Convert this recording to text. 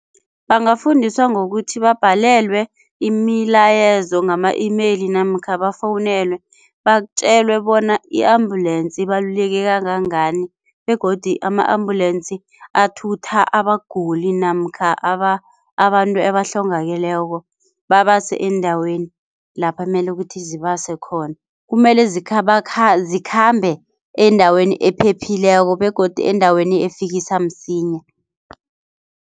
Bangafundiswa ngokuthi babhalelwe imilayezo ngama-email namkha bafowunelwe batjelwe bona i-ambulensi ibaluleke kangangani begodi ama-ambulensi athutha abaguli namkha abantu ebahlongakeleko babase eendaweni lapha mele kuthi zibase khona. Kumele zikhambe endaweni ephephileko begodu endaweni efikisa msinya.